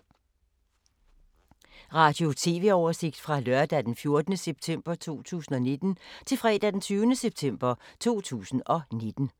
Radio/TV oversigt fra lørdag d. 14. september 2019 til fredag d. 20. september 2019